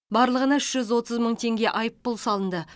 барлығына үш жүз отыз мың теңге айыппұл салынды